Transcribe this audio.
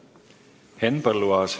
Henn Põlluaas.